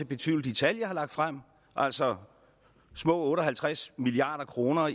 betvivle de tal jeg har lagt frem altså små otte og halvtreds milliard kroner